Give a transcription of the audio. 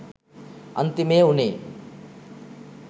අන්තිමේ උනේ